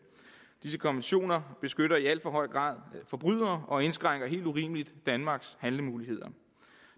disse konventioner beskytter i alt for høj grad forbrydere og indskrænker helt urimeligt danmarks handlemuligheder